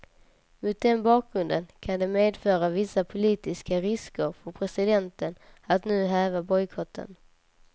Mot den bakgrunden kan det medföra vissa politiska risker för presidenten att nu häva bojkotten.